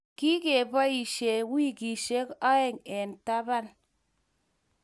Kigeboishe weekishek aeng eng taban